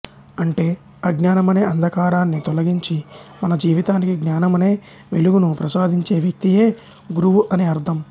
అంటే అజ్ఞానమనే అంధకారాన్ని తొలగించి మన జీవితానికి జ్ఞానమనే వెలుగు ను ప్రసాదించే వ్యక్తి యే గురువు అని అర్థం